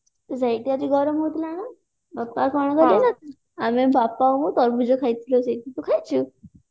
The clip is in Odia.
ସେଇଠି ଆଜି ଗରମ ହଉଥିଲା ନା ବାପା କଣ କଲେ ନା ଆମେ ବାପା ଆଉ ମୁଁ ତରଭୁଜ ଖାଇଥିଲୁ ସେଇଠି ତୁ ଖାଇଛୁ